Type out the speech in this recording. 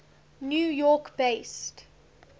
new york based